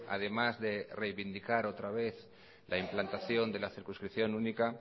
además de reivindicar otra vez la implantación de la circunscripción única